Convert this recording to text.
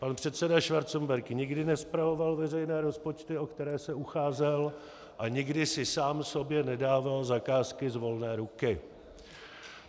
Pan předseda Schwarzenberg nikdy nespravoval veřejné rozpočty, o které se ucházel, a nikdy si sám sobě nedával zakázky z volné ruky.